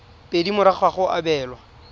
pedi morago ga go abelwa